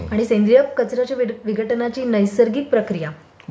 आणि सेंद्रिय घटकांच्या विघटनाची नैसर्गिक प्रक्रिया...